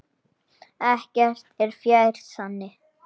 Ekkert er fjær sanni.